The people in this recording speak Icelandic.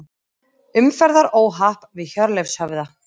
Umferðaróhapp við Hjörleifshöfða